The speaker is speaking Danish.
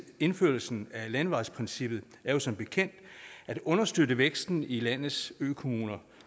indførelsen af landevejsprincippet er jo som bekendt at understøtte væksten i landets økommuner